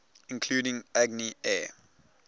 including agni air